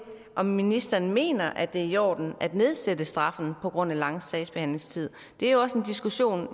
om ministeren mener at det er i orden at nedsætte straffen på grund af lange sagsbehandlingstider det er også en diskussion